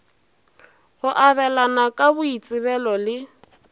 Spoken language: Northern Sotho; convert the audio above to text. go abelana ka boitsebelo le